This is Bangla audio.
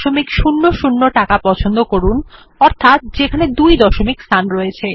123400 টাকা পছন্দ করুন যেখানে দুই দশমিক স্থান রয়েছে